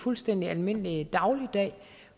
fuldstændig almindelig dagligdag